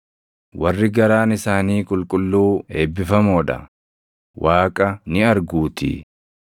Warri garaan isaanii qulqulluu eebbifamoo dha; Waaqa ni arguutii.